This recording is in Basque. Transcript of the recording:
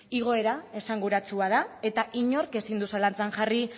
igoera esanguratsua da eta inork ezin du zalantzan jarri